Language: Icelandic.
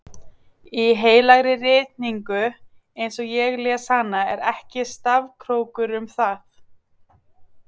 Í heilagri ritningu eins og ég les hana er ekki stafkrókur um það.